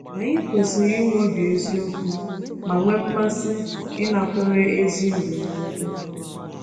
Anyị kwesịrị inwe obi eziokwu ma nwee mmasị ịnakwere ezi ndụmọdụ.